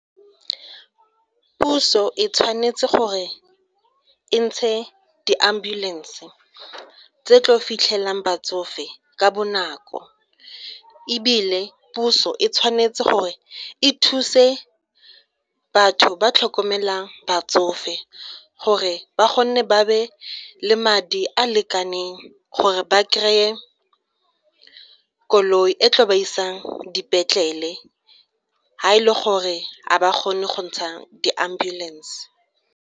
Puso e tshwanetse gore e ntshe di-ambulance tse tlo fitlhelang batsofe ka bonako, ebile puso e tshwanetse gore e thuse batho ba tlhokomelang batsofe gore ba kgone ba be le madi a a lekaneng gore ba kry-e koloi e tlo ba isang dipetlele fa e le gore ga ba kgone go ntsha di-ambulance.